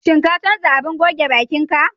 Shin ka canza abin goge baƙin ka?